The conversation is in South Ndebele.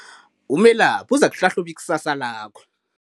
Umelaphi uzakuhlahluba ikusasa lakho.